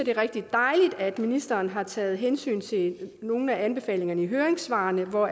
er rigtig dejligt at ministeren har taget hensyn til nogle af anbefalingerne i høringssvarene hvor